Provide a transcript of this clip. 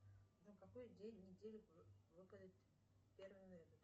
на какой день недели выпадет первое ноября